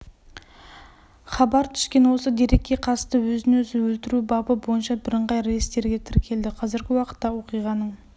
хабар түскен осы дерекке қатысты өзін-өзі өлтіру бабы бойынша бірыңғай реестрге тіркелді қазіргі уақытта оқиғаның